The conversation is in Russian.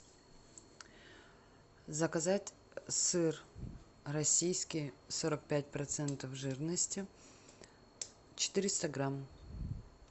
заказать сыр российский сорок пять процентов жирности четыреста грамм